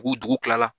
U dugu kila la